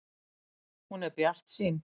Hún er bjartsýn.